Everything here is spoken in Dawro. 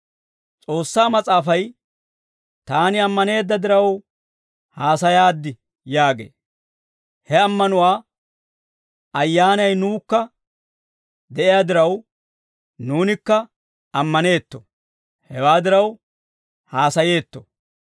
S'oossaa Mas'aafay, «Taani ammaneedda diraw haasayaaddi» yaagee; he ammanuwaa ayyaanay nuwukka de'iyaa diraw, nuunikka ammaneetto; hewaa diraw, haasayeetto.